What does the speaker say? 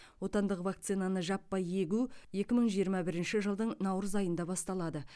отандық вакцинаны жаппай егу екі мың жиырма бірінші жылдың наурыз айында басталады